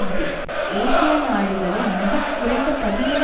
இது ஏசியா நாடுகளின் மிக குறைந்த பதினேழு